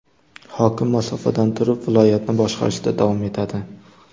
Hokim masofadan turib viloyatni boshqarishda davom etadi.